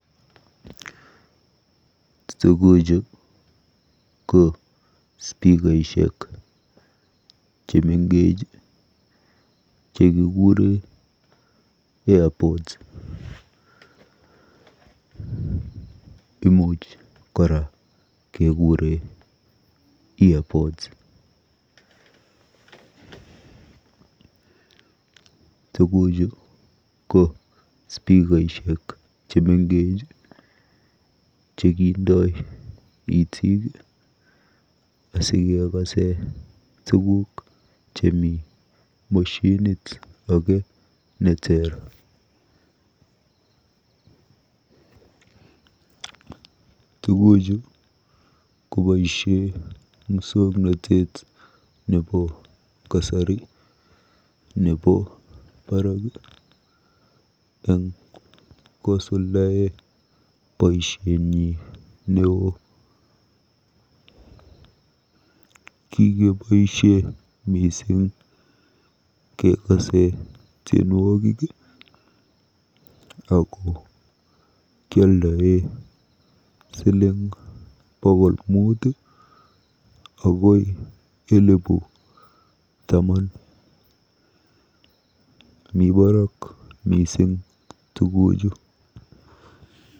Tuguchu ko spikaishek chemengech chekikure Airpods. Imuuch kora kekure Earpods. Tuguchu ko spikaishek chemengech chekindo itiik asikekase tuguuk chemi moshinit age neteer. Tuguchu keboisie musoknotet nebo kasari nebo barak eng kosuldae boisienyi neo. Kikeboisie mising kekase tienwogik ago kialdae siling bokol mut akoi elebu taman. Mi baraak mising tuguchu.